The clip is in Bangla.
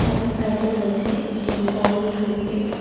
এবং সাইডে রয়েছে একটি ফল ও সবজির--